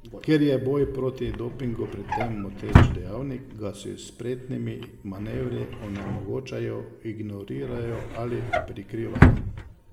Ker je boj proti dopingu pri tem moteč dejavnik, ga s spretnimi manevri onemogočajo, ignorirajo ali prikrivajo.